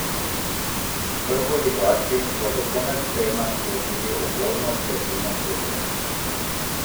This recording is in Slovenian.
Prvoligaši bodo konec tedna sklenili uvodno tretjino sezone.